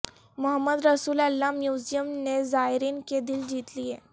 محمد Rasul Allah museum نے زائرین کے دل جیت لیے